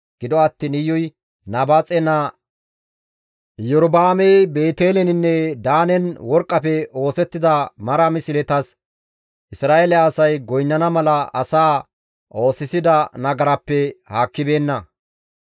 Gido attiin Iyuy Nabaaxe naa Iyorba7aamey Beeteleninne Daanen worqqafe oosettida mara misletas Isra7eele asay goynnana mala asaa oosisida nagarappe haakkibeenna.